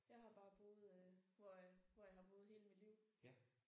Jeg har bare boet hvor hvor jeg har boet hele mit liv